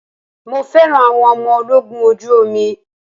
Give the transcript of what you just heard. Mo fẹ́ràn àwọn ọmọ ológun ojú omi.